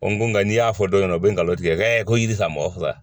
O n ko nka n'i y'a fɔ dɔw ɲɛna u bɛ nkalon tigɛ ko jiri mɔgɔ ka faga